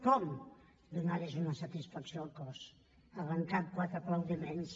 com donant los una satisfacció al cos arrencant quatre aplaudiments